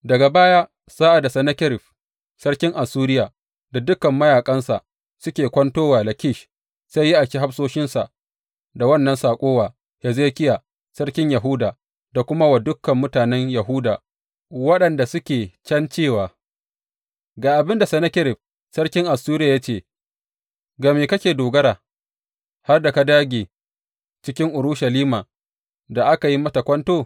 Daga baya, sa’ad da Sennakerib sarkin Assuriya da dukan mayaƙansa suke kwanto wa Lakish, sai ya aiki hafsoshinsa da wannan saƙo wa Hezekiya sarkin Yahuda da kuma wa dukan mutanen Yahuda waɗanda suke can cewa, Ga abin da Sennakerib sarkin Assuriya ya ce ga me kake dogara, har da ka dāge cikin Urushalima da aka yi mata kwanto?